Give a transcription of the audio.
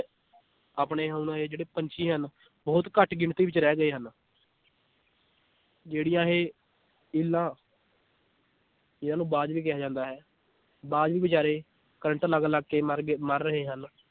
ਆਪਣੇ ਹੁਣ ਇਹ ਜਿਹੜੇ ਪੰਛੀ ਹਨ ਬਹੁਤ ਘੱਟ ਗਿਣਤੀ ਵਿਚ ਰਹਿ ਗਏ ਹਨ ਜਿਹੜੀਆਂ ਇਹ ਇੱਲਾਂ ਜਿਹਨਾਂ ਨੂੰ ਬਾਜ ਵੀ ਕਿਹਾ ਜਾਂਦਾ ਹੈ ਬਾਜ ਵੀ ਬਿਚਾਰੇ ਕਰੰਟ ਲਗ ਲਗ ਕੇ ਮਰ ਗਏ ਮਰ ਰਹੇ ਹਨ l